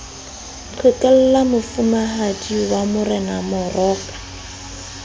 qhekella mofumahadi wa morena ramoroko